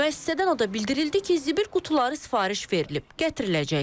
Müəssisədən o da bildirildi ki, zibil qutuları sifariş verilib, gətiriləcəkdir.